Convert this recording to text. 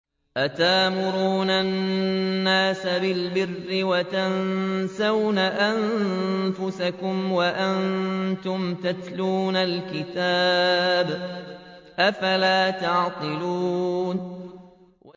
۞ أَتَأْمُرُونَ النَّاسَ بِالْبِرِّ وَتَنسَوْنَ أَنفُسَكُمْ وَأَنتُمْ تَتْلُونَ الْكِتَابَ ۚ أَفَلَا تَعْقِلُونَ